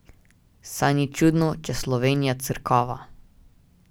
Saj ni čudno, če Slovenija crkava.